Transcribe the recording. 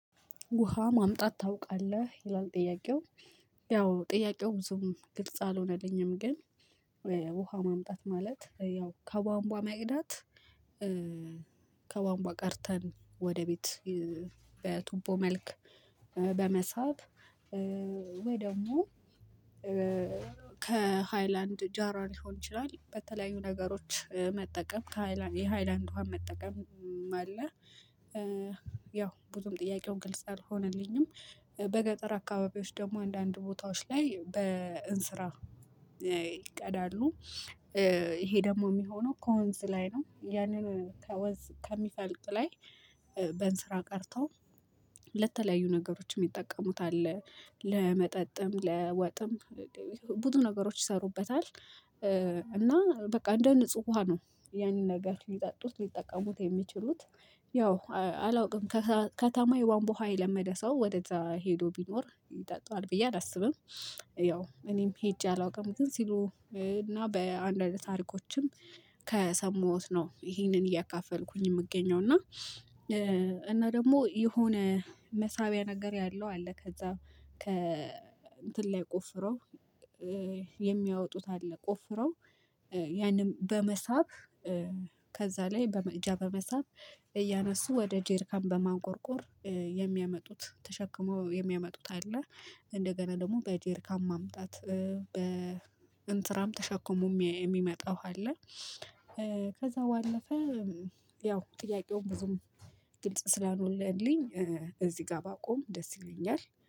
ውሃ ማምጣት ታውቃለህ ይላል ጥያቄው ያው ጥያቄው ብዙም ግልጽ አልሆነልኝም። ግን ውሃ ማምጣት ማለት ያው ከቧንቧ መቅዳት ከቧንቧ ቀድተን ወደ ቤት በቱቦ መልክ በመሳብ ወይ ደግሞ ከሃይላንድ ጃራል ሊሆን ይችላል በተለያዩ ነገሮች መጠቀም ከሃይላንድ የሃይላንድ ውሃ መጠቀም። አለ ያው ብዙም ጥያቄው ግልጽ አልሆነልኝም። በገጠር አካባቢዎች ደግሞ አንዳንድ ቦታዎች ላይ በእንስራ ይቀዳሉ። ይሄ ደግሞ የሚሆነው ከወንዝ ላይ ነው ያንን ከወንዝ ከሚፈልቅ ላይ በእንስራ ቀድተው ለተለያዩ ነገሮች ሚጠቀሙት አለ። ለመጠጥም ለወጥም ብዙ ነገሮች ይሰሩበታል። እና በቃ እንደ ንጹህ ውሃ ነው ያንን ነገር ሊጠጡት ሊጠቀሙት የሚችሉት። ያው አላውቅም ከተማ የቧንቧ ውሃ የለመደ ሰው ወደዛ ሄዶ ቢኖር ይጠጣዋል ብዬ አላስብም። ያው እኔም ሄጄ አላውቅም ግን ሲሉ እና በአንድ አንድ ታሪኮችም ከሰማሁት ነው ይሄንን እያካፈልኩኝ የምገኘው እና። እና ደግሞ የሆነ መሳቢያ ነገር ያለው አለ ከዛ ከ እንትን ላይ ቆፍረው የሚያወጡት አለ ቆፍረው ያንን በመሳብ ከዛ ላይ በመቅጃ በመሳብ እያነሱ ወደ ጀሪካን በማንቆርቆር የሚያመጡት ተሸክመው የሚያመጡት አለ። እንደገና ደግሞ በጀሪካን ማምጣት በእንስራም ተሸክሞ የሚመጣ ውሃ አለ። ከዛ ባለፈ ያው ጥያቄውም ብዙም ግልጽ ስላልሆነልኝ እዚህ ጋር ባቆም ደስ ይለኛል